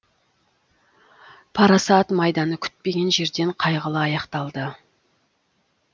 парасат майданы күтпеген жерден қайғылы аяқталды